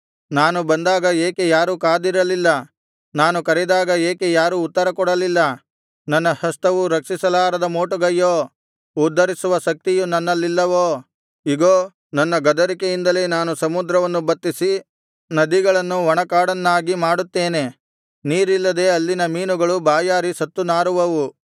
ನಾನು ಬಂದಾಗ ಏಕೆ ಯಾರೂ ಕಾದಿರಲಿಲ್ಲ ನಾನು ಕರೆದಾಗ ಏಕೆ ಯಾರೂ ಉತ್ತರಕೊಡಲಿಲ್ಲ ನನ್ನ ಹಸ್ತವು ರಕ್ಷಿಸಲಾರದ ಮೋಟುಗೈಯೋ ಉದ್ಧರಿಸುವ ಶಕ್ತಿಯು ನನ್ನಲ್ಲಿಲ್ಲವೋ ಇಗೋ ನನ್ನ ಗದರಿಕೆಯಿಂದಲೇ ನಾನು ಸಮುದ್ರವನ್ನು ಬತ್ತಿಸಿ ನದಿಗಳನ್ನು ಒಣಕಾಡನ್ನಾಗಿ ಮಾಡುತ್ತೇನೆ ನೀರಿಲ್ಲದೆ ಅಲ್ಲಿನ ಮೀನುಗಳು ಬಾಯಾರಿ ಸತ್ತು ನಾರುವವು